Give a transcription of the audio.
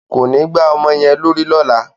Kò ní gbá ọmọ yẹn lórí lọ́la!